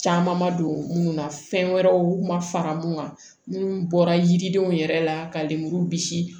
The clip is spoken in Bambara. Caman ma don munnu na fɛn wɛrɛw ma fara mun kan minnu bɔra yiridenw yɛrɛ la ka lemuru bisi